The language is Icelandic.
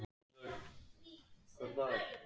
Í íslensku er þessu hins vegar á annan veg farið.